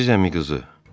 Əziz əmiqızı.